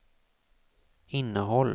innehåll